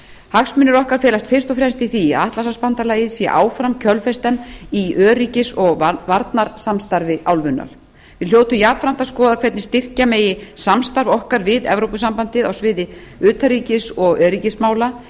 hagsmunir okkar felast fyrst og fremst í því að atlantshafsbandalagið sé áfram kjölfestan í öryggis og varnarsamstarfi álfunnar við hljótum jafnframt að skoða hvernig styrkja megi samstarf okkar við evrópusambandið á sviði utanríkis og öryggismála